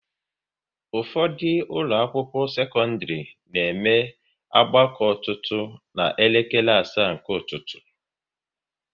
Ụfọdụ ụlọ akwụkwọ sekọndrị na eme ọgbakọ ọtụtụ ná elekere asaa nke ụtụtụ